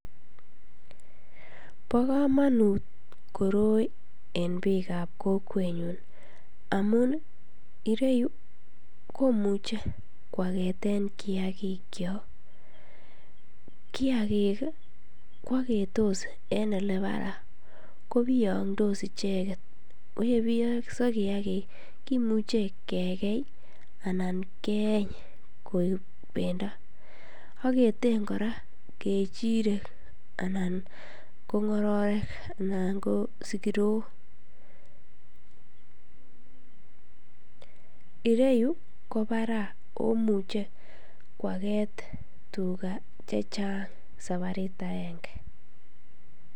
Bokomonut koroi en biikab kokwenyun amun ireyu komuche kwaketen kiakikyok, kiakik kwoketos en olebaraa kobiyongdos icheket, koyebiyo kiakik kimuche kekei anan keeny koik bendo, aketen kora kechirek anan ko ng'ororek anan ko sikirok, ireyu kobaraa omuchebkwaket tukaa chechang sabart akeng'e.